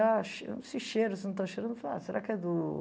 Ah, che esse cheiro, você não está cheirando? Eu falei, ah será que é do...